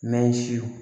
N'a ye siw